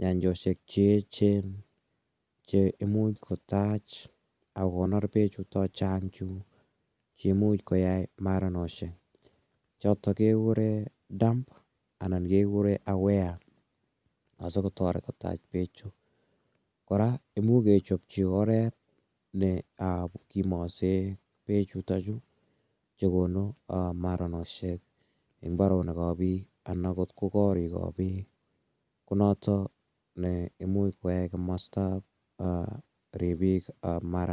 nyanjoshek che echen che imuch kotach ak kokonor pechutok chang' chu che imuch koyai maranoshek chotok kekure dam anan kekure aware che imuch kotach peechu. Kora imuch kechopchi oret ne kimaase pechutachu chu konu maranoshek eng' mbaronik ap piik anan agot ko koriik ap pik ko notok ne imuch koyai komastap ripiik ap maranet.